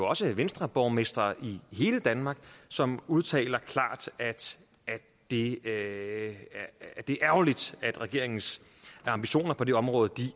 også venstreborgmestre i hele danmark som udtaler at det er ærgerligt at regeringens ambitioner på det område